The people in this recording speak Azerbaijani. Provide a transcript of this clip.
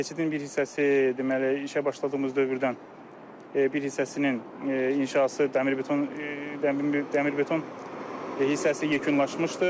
Keçidin bir hissəsi deməli, işə başladığımız dövrdən bir hissəsinin inşası dəmir beton dəmir beton hissəsi yekunlaşmışdır.